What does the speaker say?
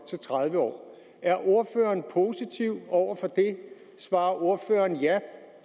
til tredive år er ordføreren positiv over for det svarer ordføreren ja